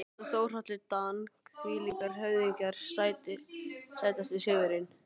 Pétur Ásbjörn og Þórhallur Dan þvílíkir höfðingjar Sætasti sigurinn?